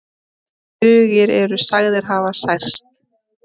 Tugir eru sagðir hafa særst